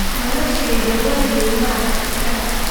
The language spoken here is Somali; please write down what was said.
Noloshayda waligey ma arag isaga.